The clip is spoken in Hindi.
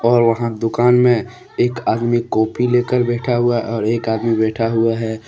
और वहां दुकान में एक आदमी कॉपी लेकर बैठा हुआ है और एक आदमी बैठा हुआ है।